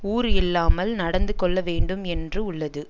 ஊறு இல்லாமல் நடந்து கொள்ள வேண்டும் என்று உள்ளது